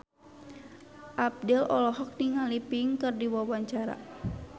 Abdel olohok ningali Pink keur diwawancara